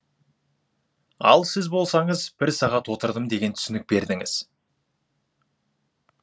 ал сіз болсаңыз бір сағат отырдым деген түсінік бердіңіз